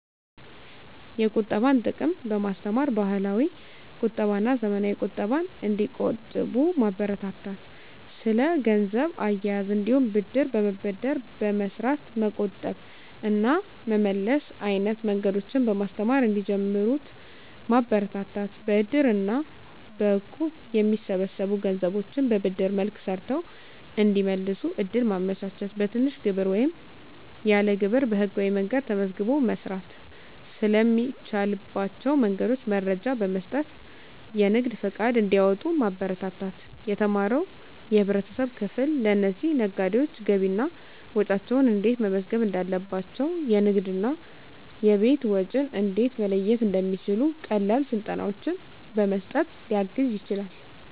የቁጠባን ጥቅም በማስተማር፣ ባህላዊ ቁጠባና ዘመናዊ ቁጠባን እንዲቆጥቡ ማበረታታት። ስለ ገንዘብ አያያዝ እንዲሁም ብድር በመበደር በመስራት መቆጠብ እና መመለስ አይነት መንገዶችን በማስተማር እንዲጀምሩት ማበረታታት። በእድር እና በእቁብ የሚሰበሰቡ ገንዘቦችን በብድር መልክ ሰርተው እንዲመልሱ እድል ማመቻቸት። በትንሽ ግብር ወይም ያለ ግብር በህጋዊ መንገድ ተመዝግቦ መስራት ስለሚቻልባቸው መንገዶች መረጃ በመስጠት የንግድ ፈቃድ እንዲያወጡ ማበረታታት። የተማረው የህብረተሰብ ክፍል ለእነዚህ ነጋዴዎች ገቢና ወጪያቸውን እንዴት መመዝገብ እንዳለባቸው፣ የንግድና የቤት ወጪን እንዴት መለየት እንደሚችሉ ቀላል ስልጠናዎችን በመስጠት ሊያግዝ ይችላል።